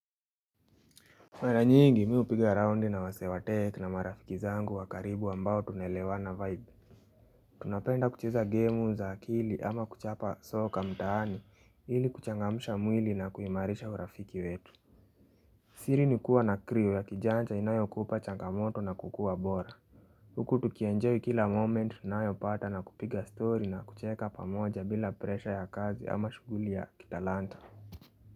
Mara nyingi mimi hupiga raundi na wasee wa tech na marafiki zangu wa karibu ambao tunaelewa vibes Tunapenda kucheza game za akili ama kuchapa soka mtaani ili kuchangamsha mwili na kuhimarisha urafiki wetu siri ni kuwa na crew ya kijanja inayo kupa changamoto na kukuwa bora Huku tukienjoy kila moment tunayo pata na kupiga story na kucheka pamoja bila presha ya kazi ama shuguli ya kitalanta.